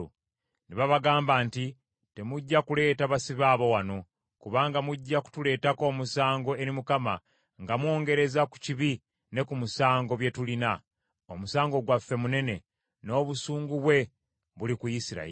Ne babagamba nti, “Temujja kuleeta basibe abo wano, kubanga mujja kutuleetako omusango eri Mukama nga mwongereza ku kibi ne ku musango bye tulina. Omusango gwaffe munene, n’obusungu bwe buli ku Isirayiri.”